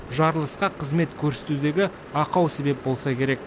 жарылысқа қызмет көрсетудегі ақау себеп болса керек